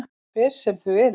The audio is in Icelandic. Hver sem þau eru.